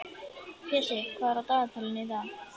Pési, hvað er á dagatalinu í dag?